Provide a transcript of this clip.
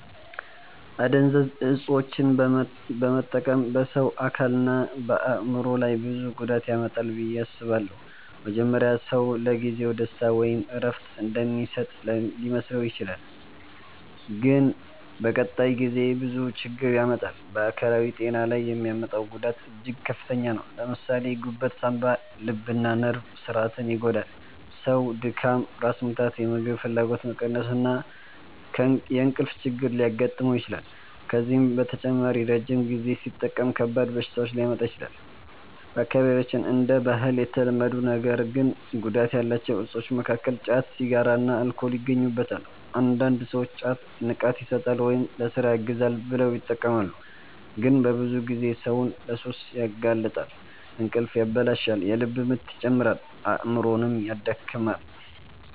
አደንዛዥ እፆችን መጠቀም በሰው አካልና በአእምሮ ላይ ብዙ ጉዳት ያመጣል ብዬ አስባለሁ። መጀመሪያ ሰው ለጊዜው ደስታ ወይም እረፍት እንደሚሰጥ ሊመስለው ይችላል፣ ግን በቀጣይ ጊዜ ብዙ ችግር ያመጣል። በአካላዊ ጤና ላይ የሚያመጣው ጉዳት እጅግ ከፍተኛ ነው። ለምሳሌ ጉበት፣ ሳንባ፣ ልብና ነርቭ ስርዓትን ይጎዳል። ሰው ድካም፣ ራስ ምታት፣ የምግብ ፍላጎት መቀነስ እና የእንቅልፍ ችግር ሊያጋጥመው ይችላል። ከዚህ በተጨማሪ ረጅም ጊዜ ሲጠቀም ከባድ በሽታዎች ሊያመጣ ይችላል። በአካባቢያችን እንደ ባህል የተለመዱ ነገር ግን ጉዳት ያላቸው እፆች መካከል ጫት፣ ሲጋራና አልኮል ይገኙበታል። አንዳንድ ሰዎች ጫት “ንቃት ይሰጣል” ወይም “ለሥራ ያግዛል” ብለው ይጠቀማሉ፣ ግን በብዙ ጊዜ ሰውን ለሱስ ያጋልጣል። እንቅልፍ ያበላሻል፣ የልብ ምት ይጨምራል፣ አእምሮንም ያደክማል።